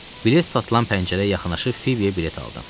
Bilet satılan pəncərəyə yaxınlaşıb Fibiyə bilet aldım.